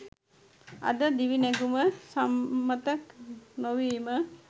අද දිවිනැගුම සම්මත නොවීම